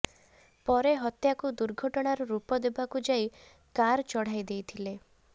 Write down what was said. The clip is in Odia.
ପରେ ହତ୍ୟାକୁ ଦୁର୍ଘଟଣାର ରୂପ ଦେବାକୁ ଯାଇ କାର୍ ଚଢ଼ାଇଦେଇଥିଲେ